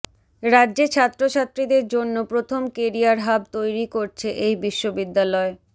রাজ্যে ছাত্রছাত্রীদের জন্য প্রথম কেরিয়ার হাব তৈরি করছে এই বিশ্ববিদ্যালয়